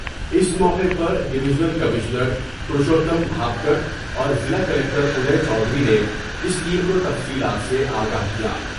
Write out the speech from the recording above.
اس موقع پر division commissioner پرشوت کھا کر وضلع کلکٹر دے چودھری نے اس ٹیم کوتفصیلات سے آگاہ کیا ۔